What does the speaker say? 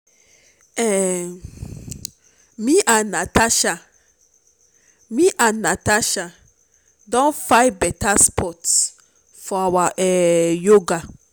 um me and natasha me and natasha don find better spot for our um yoga